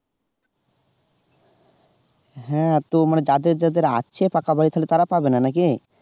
হ্যাঁ তো মানে যাদের যাদের আছে টাকা পয়সা তারা পাবে না নাকি?